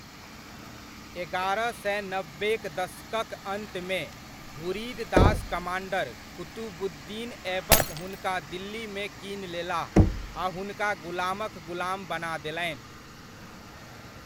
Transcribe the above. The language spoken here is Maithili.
एगारह सए नब्बे'क दशकक अन्तमे, घुरिद दास कमाण्डर कुतुबुद्दीन ऐबक हुनका दिल्लीमे कीन लेलाह, आ हुनका गुलामक गुलाम बना देलनि।